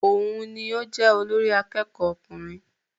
Òun ní o jẹ olórí àkẹ́kọ̀ọ ọkùnrin.